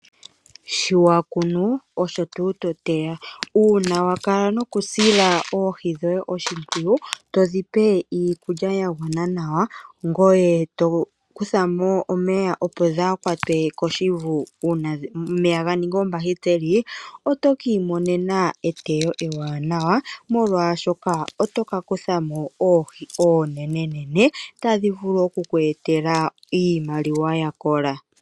Shi wa kunu osho tuu to teya uuna wa kala nokusila oohi dhoye oshimpwiyu, to dhi pe iikulya ya gwana nawa, ngoye to kutha mo omeya opo dhaa kwatwe koshivu uuna omeya ga ningi oombahiteli, oto ki imonena eteyo ewanawa molwaashoka oto ka kutha mo oohi oonenenene tadhi vulu oku kwe etela iimaliwa ya kola.